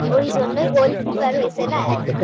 ওই জন্যই Goal Keeper হইছে না